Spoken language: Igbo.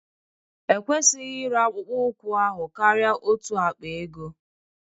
Ekwesịghị ịre akpụkpọ ụkwụ ahụ karịa otu akpa ego